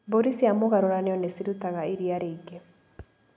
Mbũri cia mũgarũranio nĩcirutaga iria rĩingĩ.